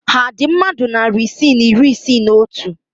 Ha dị mmadụ narị isii na iri isii na otu?